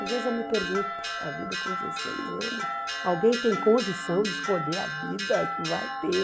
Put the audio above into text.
Às vezes eu me pergunto, poxa, a vida com dezesseis anos, alguém tem condição de escolher a vida que vai ter?